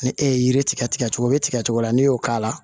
Ni e ye yiri tigɛ cogo o bɛ tigɛ cogo min n'i y'o k'a la